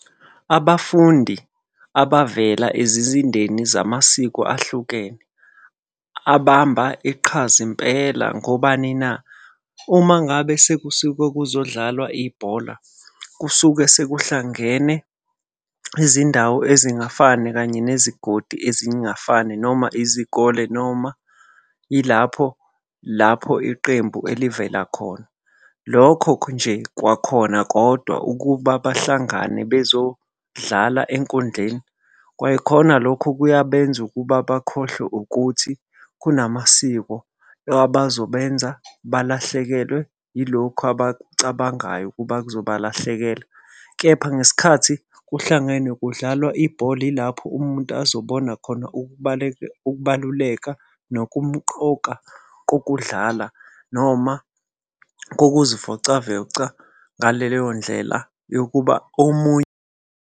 Abafundi abavela ezizindeni zamasiko ahlukene. Abamba iqhaza impela ngobani na? Uma ngabe sekusuke kuzodlalwa ibhola, kusuke sekuhlangene izindawo ezingafani kanye nezigodi ezingafani noma izikole, noma ilapho lapho iqembu elivela khona. Lokho nje kwakhona kodwa ukuba bahlangane bezodlala enkundleni, kwayikhona lokho kuyabenza ukuba bakhohlwe ukuthi kunamasiko abazobenza balahlekelwe yilokhu abakucabangayo ukuba kuzobalahlekela. Kepha ngesikhathi kuhlangenwe kudlalwa ibhola ilapho umuntu azobona khona ukubaluleka nokumqoka kokudlala noma ngokuzivocavoca ngaleyo ndlela yokuba omunye.